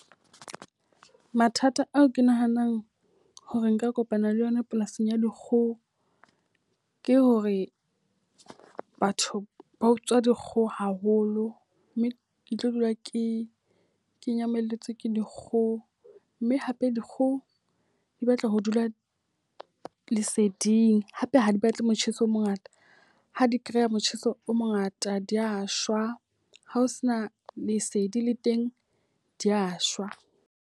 Mathata ao ke nahanang hore nka kopana le yona polasing ya dikgoho. Ke hore batho ba utswa dikgoho haholo, mme ke tlo dula ke ke nyamalletswe ke dikgoho. Mme hape dikgoho di batla ho dula leseding hape ha di batle motjheso o mongata. Ha di kereya motjheso o mongata di a shwa, ha o se na lesedi le teng di ya shwa.